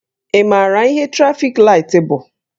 Ị maara ihe trafik laịtị bụ?